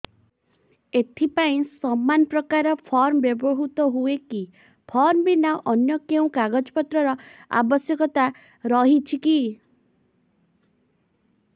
ଏଥିପାଇଁ ସମାନପ୍ରକାର ଫର୍ମ ବ୍ୟବହୃତ ହୂଏକି ଫର୍ମ ଭିନ୍ନ ଅନ୍ୟ କେଉଁ କାଗଜପତ୍ରର ଆବଶ୍ୟକତା ରହିଛିକି